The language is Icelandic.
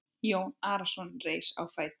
Jón Arason reis á fætur.